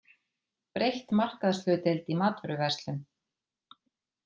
Breytt markaðshlutdeild í matvöruverslun